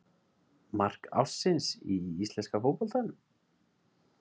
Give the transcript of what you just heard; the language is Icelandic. Mark ársins í íslenska fótboltanum?